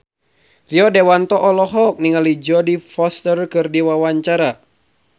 Rio Dewanto olohok ningali Jodie Foster keur diwawancara